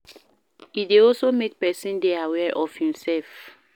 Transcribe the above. E de also make persin de aware of im self